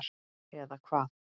eða hvað?